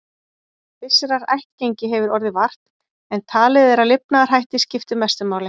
Vissrar ættgengi hefur orðið vart, en talið er að lifnaðarhættir skipti mestu máli.